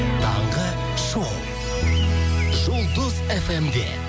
таңғы шоу жұлдыз фм де